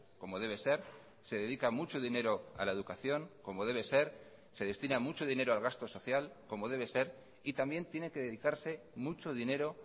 como debe ser se dedica mucho dinero a la educación como debe ser se destina mucho dinero al gasto social como debe ser y también tiene que dedicarse mucho dinero